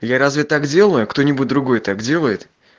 я разве так делаю кто-нибудь другой так делает